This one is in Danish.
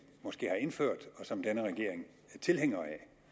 måske har indført og som denne regering er tilhænger